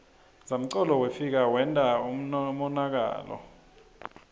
zamcolo wefika wenta umonakalo